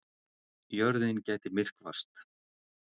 Jörðin gæti myrkvast